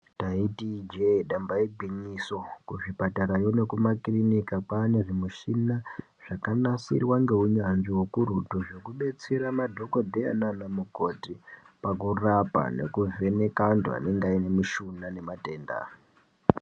Taiti ijee damba igwinyiso kuzvipatarayo nekumakirinika kwane zvimishina zvakanasirwa ngeunyanzvi hukurutu. Zvekubetsera madhogodheya nana mukoti pakurapa nekuvheneka antu anenge aine mushuna nematenda.